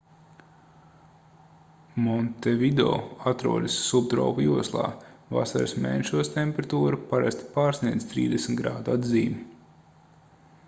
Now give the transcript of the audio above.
montevideo atrodas subtropu joslā; vasaras mēnešos temperatūra parasti pārsniedz +30 °c atzīmi